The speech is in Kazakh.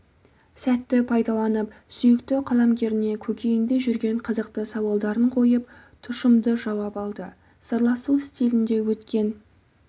сәтті пайдаланып сүйікті қаламгеріне көкейінде жүрген қызықты сауалдарын қойып тұшымды жауап алды сырласу стилінде өткен